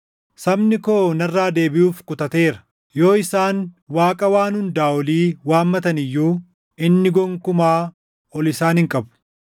Sabni koo narraa deebiʼuuf kutateera. Yoo isaan Waaqa Waan Hundaa Olii waammatan iyyuu inni gonkumaa ol isaan hin qabu.